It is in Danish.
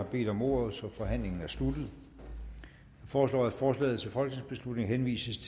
har bedt om ordet så forhandlingen er sluttet jeg foreslår at forslaget til folketingsbeslutning henvises